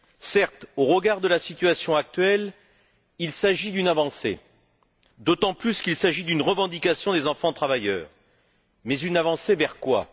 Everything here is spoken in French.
Certes, au regard de la situation actuelle, il s'agit d'une avancée, d'autant plus qu'il s'agit d'une revendication des enfants travailleurs, mais une avancée vers quoi?